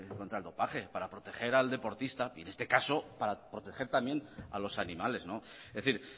contra el dopaje para proteger al deportista y en este caso para proteger también a los animales es decir